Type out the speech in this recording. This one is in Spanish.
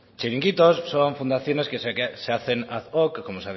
chiringuitos son fundaciones que se hacen ad hoc como